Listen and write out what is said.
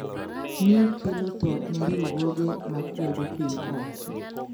Ni kelo tho ne riwruoge ma kwedo piny owacho